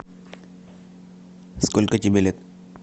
сколько тебе лет